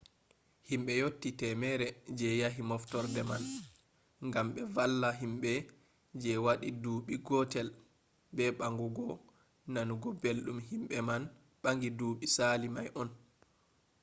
himbe yotti 100 je yahi moftorde man gam be valla himbe je wadi duubi gotel be bangugo nanugo beldum himbe man bangi duubi sali mai on